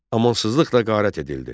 Amansızlıqla qarət edildi.